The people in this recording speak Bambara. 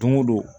Don o don